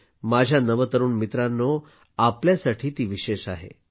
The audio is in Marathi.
माझ्या नवतरुण मित्रांनो आपल्यासाठी विशेष आहे